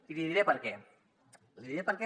i li diré per què li diré per què